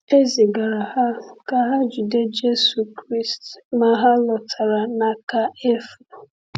E zigara ha ka ha jide Jésù Kraịst, ma ha lọtara n’aka efu.